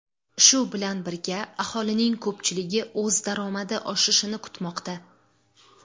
Shu bilan birga, aholining ko‘pchiligi o‘z daromadi oshishini kutmoqda.